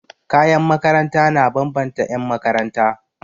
Kayan makaranta na bambanta 'yanmakaranta.